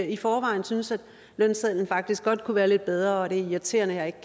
i forvejen synes at lønsedlen faktisk godt kunne være lidt bedre og at det er irriterende ikke